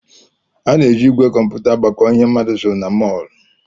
A na-eji ígwè kọmputa agbakọ ihe mmadụ zụrụ na mọl